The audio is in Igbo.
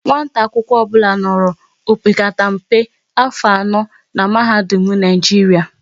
Nwata akwụkwọ ọbụla nọrọ opekata mpe afọ anọ n'mahadum Naijiria